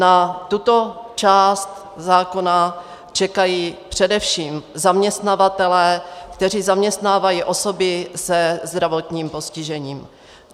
Na tuto část zákona čekají především zaměstnavatelé, kteří zaměstnávají osoby se zdravotním postižením.